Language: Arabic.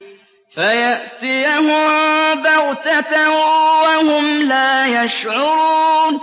فَيَأْتِيَهُم بَغْتَةً وَهُمْ لَا يَشْعُرُونَ